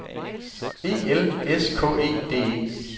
E L S K E D E